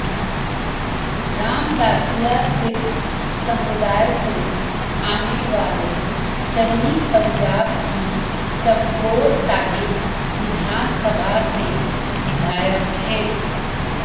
रामदासिया सिख समुदाय से आने वाले चन्नी पंजाब की चमकौर साहिब विधानसभा से विधायक हैं